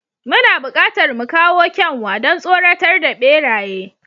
Muna buƙatar mu kawo kyanwa, don tsoratar da beraye.